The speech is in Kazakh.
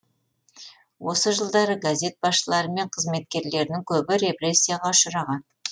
осы жылдары газет басшылары мен қызметкерлерінің көбі репрессияға ұшыраған